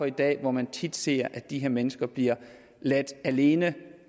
i dag hvor man tit ser at de her mennesker bliver ladt alene